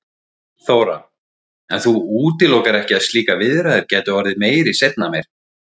Þóra: En þú útilokar ekki að slíkar viðræður gætu orðið seinna meir?